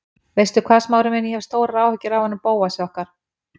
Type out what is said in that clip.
Veistu hvað, Smári minn, ég hef stórar áhyggjur af honum Bóasi okkar.